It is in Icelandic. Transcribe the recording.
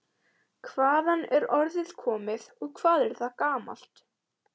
Hvaðan er orðið komið og hvað er það gamalt?